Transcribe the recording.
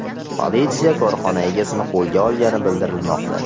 Politsiya korxona egasini qo‘lga olgani bildirilmoqda.